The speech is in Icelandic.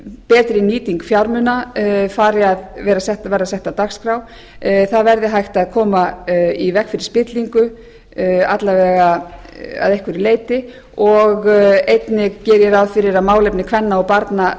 betri nýting fjármuna fari að verða sett á dagskrá það verði hægt að koma í veg fyrir spillingu alla vega að einhverju leyti og einnig geri ég ráð fyrir að málefni kvenna og barna